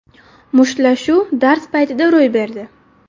Mushtlashuv dars paytida ro‘y berdi.